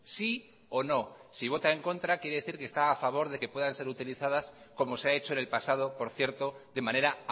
sí o no si vota en contra quiere decir que está a favor de que puedan ser utilizadas como se ha hecho en el pasado por cierto de manera